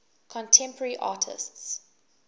contemporary artists